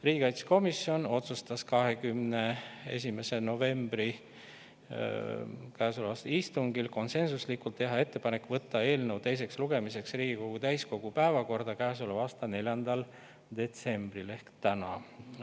Riigikaitsekomisjon otsustas käesoleva aasta 21. novembri istungil konsensuslikult teha ettepaneku võtta eelnõu teiseks lugemiseks Riigikogu täiskogu päevakorda käesoleva aasta 4. detsembriks ehk tänaseks.